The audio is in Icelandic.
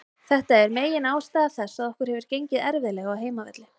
Þetta er megin ástæða þess að okkur hefur gengið erfiðlega á heimavelli.